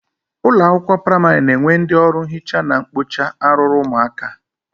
Ụlọakwụkwọ praịmarị na-enwe ndị ọrụ nhicha na-ekpocha arụrụ ụmụaka